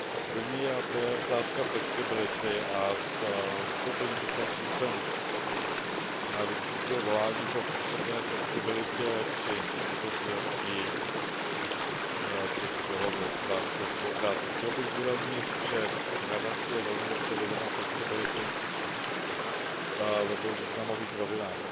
Prvním je otázka flexibility a z vystoupení poslanců jsem vycítil volání po potřebné flexibilitě při vyjednávání těch dohod o hospodářské spolupráci. Chtěl bych zdůraznit, že Rada si je velmi dobře vědoma flexibility ve dvou významových rovinách.